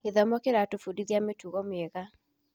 Gĩthomo kĩratũbundithia mĩtugo mĩega wega.